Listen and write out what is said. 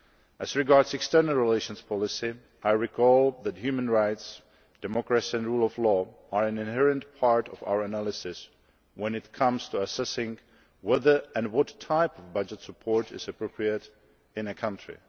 As regards external relations policy, I reiterate that human rights, democracy and the rule of law are inherent in our analysis when it comes to assessing whether and what type of budget support is appropriate in a given country.